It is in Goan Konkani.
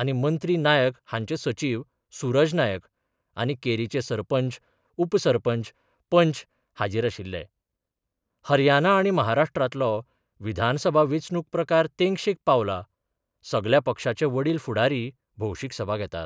आनी मंत्री नायक हांचे सचीव सुरज नायक आनी केरीचे सरपंच उपसरपंच पंच हाजीर आशिल्ले हरियाना आनी महाराष्ट्रांतलो विधानसभा वेंचणूक प्रचार तेंगशेक पावला सगल्या पक्षाचे वडील फुडारी भौशीक सभा घेतात.